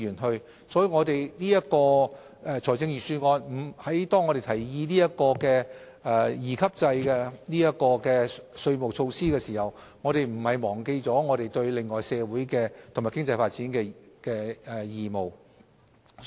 因此，當我們就財政預算案提議引入利得稅兩級制稅務措施的同時，亦並沒有忘記對社會和經濟發展的其他義務。